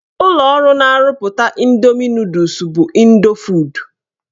Ụlọọrụ na-arụpụta Ịndoomi nọdụs bụ Ịndofood.